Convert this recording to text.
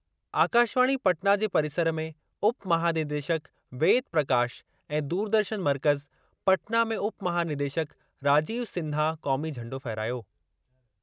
आकाशवाणी पटना जे परिसरु में उप महानिदेशक वेद प्रकाश ऐं दूरदर्शन मर्कज़, पटना में उप महानिदेशक राजीव सिन्हा क़ौमी झंडो फहिरायो।